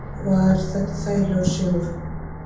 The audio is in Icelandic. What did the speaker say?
Var þetta þægilegur sigur?